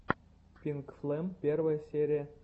пинкфлэм первая серия